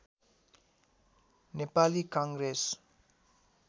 Nepali Congress